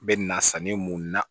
Bɛ na sanni mun na